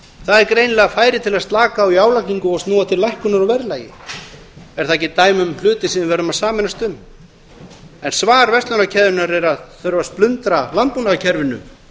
það er greinilega færi til að slaka á í álagningu og snúa til lækkunar á verðlagi er það ekki dæmi um hluti sem við verðum að sameinast um en svar verslunarkeðjunnar er að það þurfi að splundra landbúnaðarkerfinu